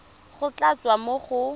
go tla tswa mo go